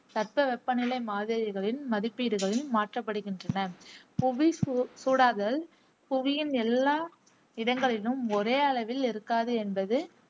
தட்பவெப்பநிலை மாதிரிகளின் மதிப்பீடுகளையும் மாற்றபடுகின்றன. புவி சூ சூடாதல் புவியின் எல்லா இடங்களிலும் ஒரே அளவில் இருக்காது என்பது